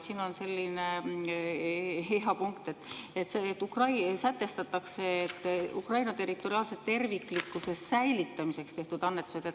Siin on selline hea punkt, et sätestatakse, et Ukraina territoriaalse terviklikkuse säilitamiseks tehtud annetused ...